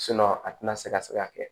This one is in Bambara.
a tɛna se ka se ka kɛ